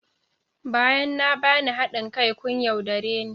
Bayan na bani hadin kai kun yaudare ni